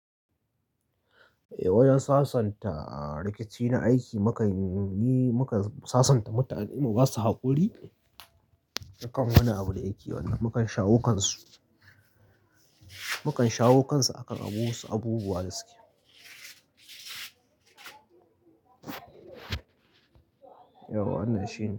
Wajan sasanta rikici na aiki. Mukan yi, mukan sasanta mutane da ba su da haƙuri akan wane abu da ne yake wannan. Mukan shawo kansu, mukan shawo kansu akan abubuwa da suke. Yau an nan shine.